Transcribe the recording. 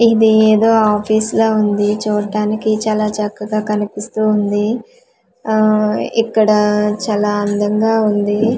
ఇది ఏదో ఆఫీస్ లా ఉంది చూడ్డానికి చాలా చక్కగా కనిపిస్తూ ఉంది ఆ ఇక్కడ చాలా అందంగా ఉంది.